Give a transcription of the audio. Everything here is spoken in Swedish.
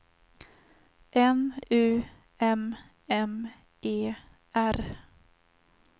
N U M M E R